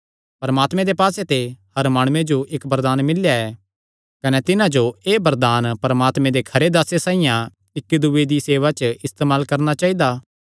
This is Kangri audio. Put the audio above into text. परमात्मे दे पास्से ते हर माणुये जो इक्क वरदान मिल्लेया ऐ कने तिन्हां जो एह़ वरदान परमात्मे दे खरे दासे साइआं इक्की दूये दी सेवा च इस्तेमाल करणा चाइदा